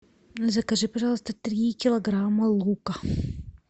закажи пожалуйста три килограмма лука